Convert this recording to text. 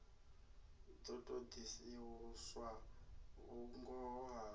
ḓo ṱo ḓisiswa vhungoho ha